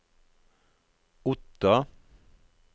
Otta